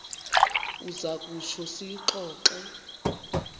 uza kutsho siyixoxe